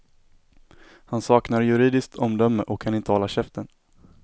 Han saknar juridiskt omdöme och kan inte hålla käften.